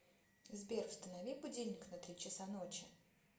сбер установи будильник на три часа ночи